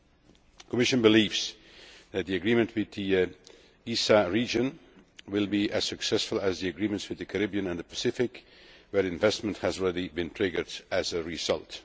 The Commission believes that the agreement with the ESA region will be as successful as the agreements with the Caribbean and the Pacific, where investment has been triggered as a result.